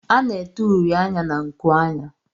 A na-ete uri anya na nkuanya.